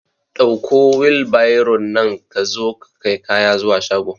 Ɗauko wilbairon nan ka zo ka kai kaya zuwa shago